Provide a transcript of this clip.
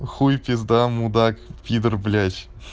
хуй пизда мудак пидор блять